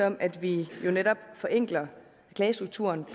om at vi jo netop forenkler klagestrukturen